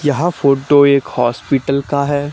यह फोटो एक हॉस्पिटल का है।